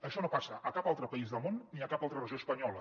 això no passa a cap altre país del món ni a cap altra regió espanyola